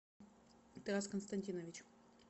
тарас константинович